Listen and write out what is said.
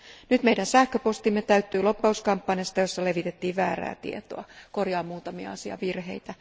Nyt meidän sähköpostimme täyttyi lobbauskampanjasta, jossa levitettiin väärää tietoa. Korjaan tässä muutamia asiavirheitä.